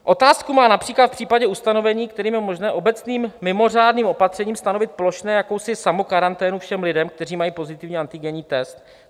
Otázku má například v případě ustanovení, kterým je možné obecným mimořádným opatřením stanovit plošně jakousi samokaranténu všem lidem, kteří mají pozitivní antigenní test.